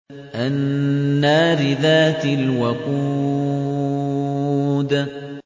النَّارِ ذَاتِ الْوَقُودِ